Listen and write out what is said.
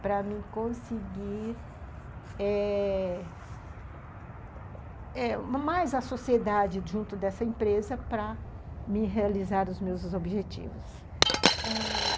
para me conseguir... eh... eh... mais a sociedade junto dessa empresa para me realizar os meus objetivos.